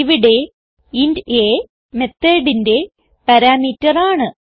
ഇവിടെ int a methodന്റെ parameter ആണ്